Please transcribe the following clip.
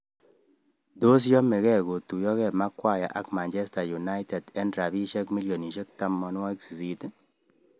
Tos yamege kotuyoge Maguire ak Man Utd eng rabisiek milionisiek 80?